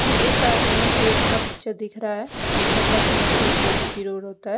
ये एक main road का पिक्चर दिख रहा है मतलब मेंन रोड जो जी_टी रोड होता है।